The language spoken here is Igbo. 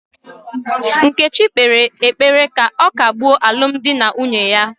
Nkechi kpere ekpere ka ọ kagbuo alụmdi na nwunye ya